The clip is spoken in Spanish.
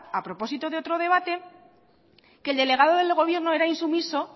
a propósito de otro debate que el delegado de gobierno era insumiso